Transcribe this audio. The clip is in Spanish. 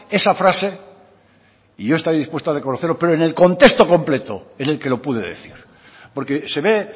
esa frase y yo estaré dispuesto a reconocerlo pero en el contexto completo en el que lo pude decir porque se ve